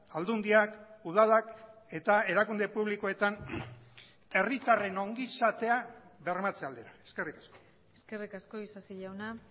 aldundiak udalak eta erakunde publikoetan herritarren ongizatea bermatze aldera eskerrik asko eskerrik asko isasi jauna